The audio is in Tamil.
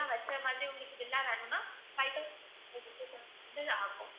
வச்ச மாதிரி உங்களுக்கு villa வேணும்னா ஆகும்